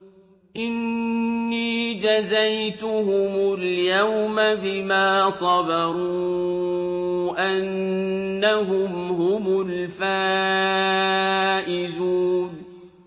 إِنِّي جَزَيْتُهُمُ الْيَوْمَ بِمَا صَبَرُوا أَنَّهُمْ هُمُ الْفَائِزُونَ